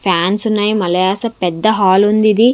Fans ఉన్నాయి మలయాస పెద్ద హాల్ ఉంది ఇది.